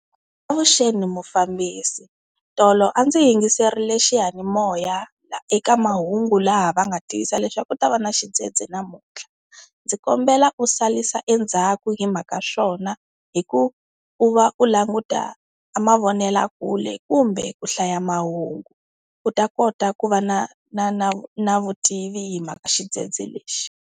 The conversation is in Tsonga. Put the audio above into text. Avuxeni mufambisi, tolo a ndzi yingiserile xiyanimoya eka mahungu laha va nga tivisa leswaku ku ta va na xidzedze namuntlha. Ndzi kombela u salisa endzhaku hi mhaka swona hi ku va u languta mavonelakule, kumbe ku hlaya mahungu u ta kota ku va na na na na vutivi hi mhaka xidzedze lexi.